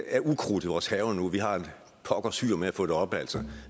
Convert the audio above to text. er ukrudt i vores haver nu og vi har et pokkers hyr med at få det op